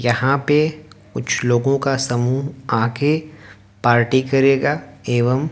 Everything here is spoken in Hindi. यहां पे कुछ लोगों का समूह आके पार्टी करेगा एवम--